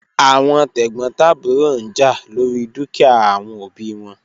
Awọn tegbotaburo n ja lori dukia awọn obi wọn